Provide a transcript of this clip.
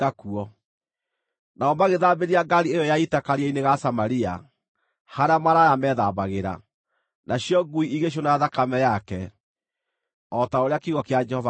Nao magĩthambĩria ngaari ĩyo ya ita karia-inĩ ga Samaria, (harĩa maraya meethambagĩra), nacio ngui igĩcũna thakame yake, o ta ũrĩa kiugo kĩa Jehova kĩoigĩte.